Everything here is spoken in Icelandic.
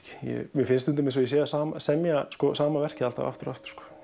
mér finnst stundum eins og ég sé að semja sama verkið aftur og aftur